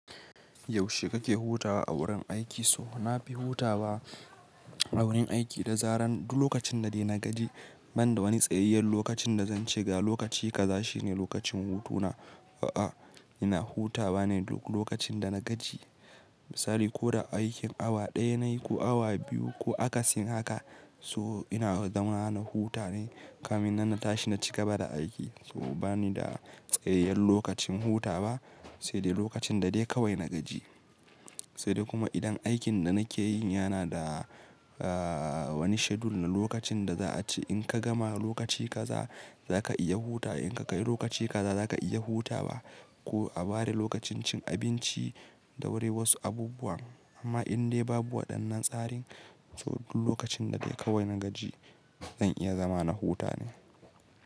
Yaushe kake hutawa a wurin aiki? So na fi hutawa a wurin aiki da zaran duk lokacin da de na gaji. Banda wani tsayayyen lokacin da zance ga lokaci kaza shine lokacin hutuna. A'a, ina hutawa ne duk lokacin da na gaji. Misali ko da aikin awa ɗaya nayi ko awa biyu ko akasin haka so ina zama na huta ne kamin nan tashi na ci gaba da aiki. So bani da tsayayyen lokacin hutawa, sai dai lokacin da de kawai na gaji. Sai dai kuma idan aikin da nake yi yana da wani schedule na lokacin da za a ce, in ka gama lokaci kaza zaka iya hutawa. In ka kai lokaci kaza zaka iya hutawa ko a ware lokacin cin abinci da wuri wasu abubuwa. Amma indai babu waɗannan tsarin so duk lokacin da dai kawai na gaji zan iya zama na huta ne.